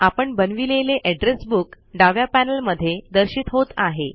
आपण बनविलेले address book डाव्या पैनल मध्ये दर्शित होत आहे